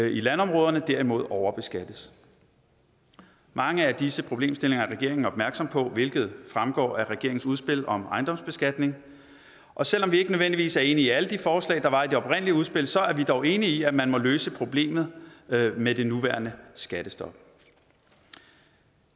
i landområderne derimod overbeskattes mange af disse problemstillinger er regeringen opmærksom på hvilket fremgår af regeringens udspil om ejendomsbeskatning og selv om vi ikke nødvendigvis er enige i alle de forslag der var i det oprindelige udspil så er vi dog enige i at man må løse problemet med det nuværende skattestop